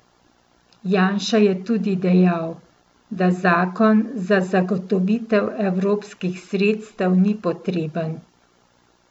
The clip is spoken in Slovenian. Janša je tudi dejal, da zakon za zagotovitev evropskih sredstev ni potreben.